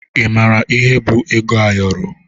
Ị mara ihe bụ ego ayọrọ?